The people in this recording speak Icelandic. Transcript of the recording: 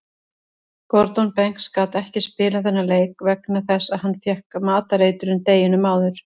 Gordon Banks gat ekki spilað þennan leik vegna þess að hann fékk matareitrun deginum áður.